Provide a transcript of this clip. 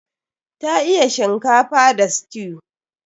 Ta iya shinkafa da stew.